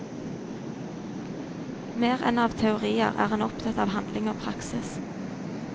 Mer enn av teorier er han opptatt av handling og praksis.